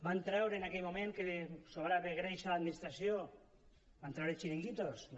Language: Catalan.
van treure en aquell moment que sobrava greix a l’administració van treure chiringuitos no